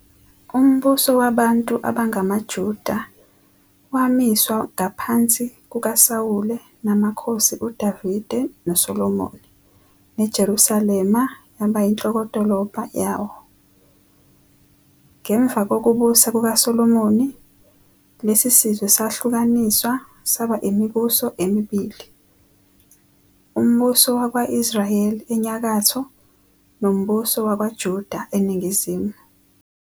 Umbuso wabantu abangamaJuda wamiswa ngaphansi kukaSawule namakhosi uDavide noSolomoni, neJerusalema yaba inhlokodolobha yawo. Ngemva kokubusa kukaSolomoni, lesi sizwe sahlukaniswa saba imibuso emibili- uMbuso wakwa-Israyeli, enyakatho, noMbuso wakwaJuda, eningizimu.